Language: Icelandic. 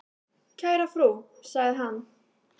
"""Kæra frú, sagði hann."""